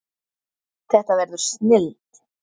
Þetta verður snilld